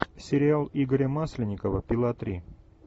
сериал игоря масленникова пила три